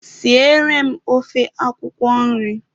Siere m ofe akwụkwọ nri!